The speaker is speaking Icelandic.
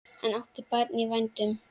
Hann átti barn í vændum.